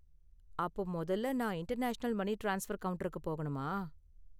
அப்போ மொதல்ல, நான் இன்டர்நேஷனல் மனி ட்ரான்ஸ்பர் கவுண்டருக்கு போகணுமா?